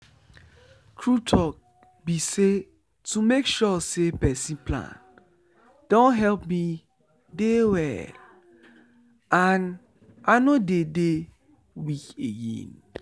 true talk be say to make sure say person plan don help me dey well and i no dey dey weak again